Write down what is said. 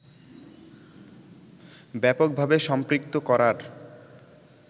ব্যাপকভাবে সম্পৃক্ত করার